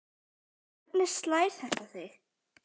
Hvernig slær þetta þig?